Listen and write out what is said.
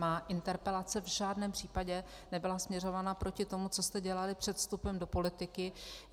Má interpelace v žádném případě nebyla směřovaná proti tomu, co jste dělali před vstupem do politiky.